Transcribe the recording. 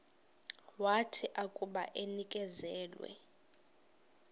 wathi akuba enikezelwe